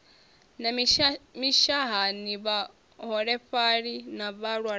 na mishahani vhaholefhali na vhalwaho